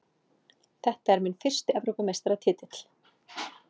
Þetta er minn fyrsti Evrópumeistaratitill.